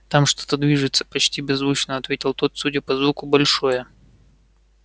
там что-то движется почти беззвучно ответил тот судя по звуку большое